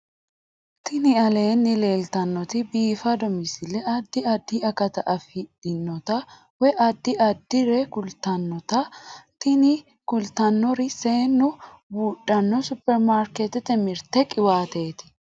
Tini aleenni leetannoti biifado misile adi addi akata afidhinote woy addi addire kultannote tini kultannori seennu buudhanno superimarikeetete mirte qiwaateeti